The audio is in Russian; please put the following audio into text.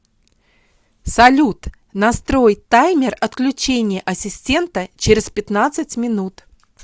салют настрой таймер отключения ассистента через пятнадцать минут